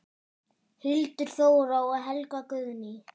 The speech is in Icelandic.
Hildur Þóra og Helga Guðný.